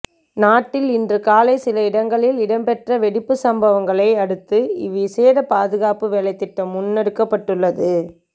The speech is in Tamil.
நாட்டில் இன்று காலை சில இடங்களில் இடம்பெற்ற வெடிப்புச் சம்பவங்களை அடுத்துஇ விசேட பாதுகாப்பு வேலைத்திட்டம் முன்னெடுக்கப்பட்டுள்ளது